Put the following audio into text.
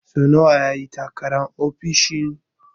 So nawa ya yi takarar ofishin?